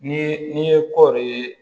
Ni n'i ye kɔɔri ye